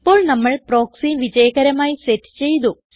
ഇപ്പോൾ നമ്മൾ പ്രോക്സി വിജയകരമായി സെറ്റ് ചെയ്തു